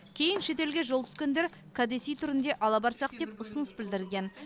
кейін шетелге жол түскендер кәдесый түрінде ала барсақ деп ұсыныс білдірген